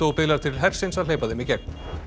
biðlar til hersins að hleypa þeim í gegn